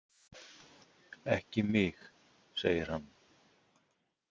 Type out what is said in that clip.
Ekki mig, segir hann.